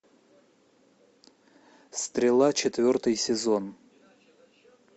стрела четвертый сезон